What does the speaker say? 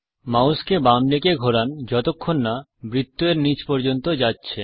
মাউসকে বাম দিকে ঘোরান যতক্ষণ না বৃত্ত এর নীচ পর্যন্ত যাচ্ছে